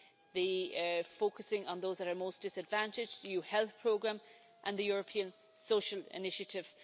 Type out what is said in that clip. the focusing on those that are most disadvantaged, the EU health programme and the European social initiative.